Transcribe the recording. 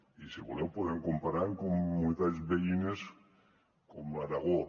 i si voleu podem comparar amb comunitats veïnes com aragó